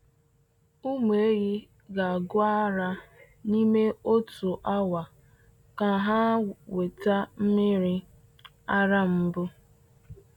Ụmụ ehi ga-gụ ara n’ime otu awa ka ha nweta mmiri ara mbụ.